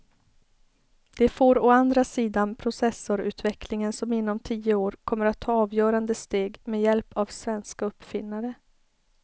Det får å andra sidan processorutvecklingen som inom tio år kommer att ta avgörande steg med hjälp av svenska uppfinnare.